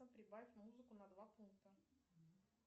прибавь музыку на два пункта